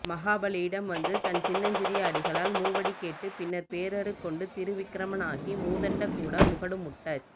மகாபலியிடம் வந்து தன் சின்னஞ்சிறிய அடிகளால் மூவடி கேட்டுப் பின் பேருருக்கொண்டு திரிவிக்கிரமனாகி மூதண்ட கூட முகடு முட்டச்